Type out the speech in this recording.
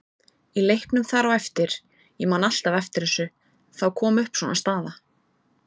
Í leiknum þar á eftir, ég man alltaf eftir þessu, þá kom upp svona staða.